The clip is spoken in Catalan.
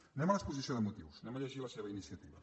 anem a l’exposició de motius anem a llegir la seva iniciativa